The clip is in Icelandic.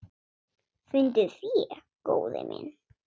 Fundið fé, góði minn.